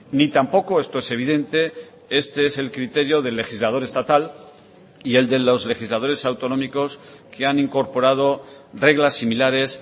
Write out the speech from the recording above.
ni tampoco esto es evidente este es el criterio del legislador estatal y el de los legisladores autonómicos que han incorporado reglas similares